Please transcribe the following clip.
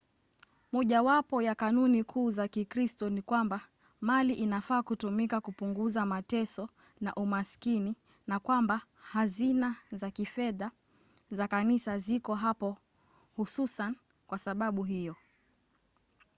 mojawapo ya kanuni kuu za kikristo ni kwamba mali inafaa kutumika kupunguza mateso na umasikini na kwamba hazina za kifedha za kanisa ziko hapo hususan kwa sababu hiyo